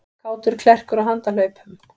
Kátur klerkur á handahlaupum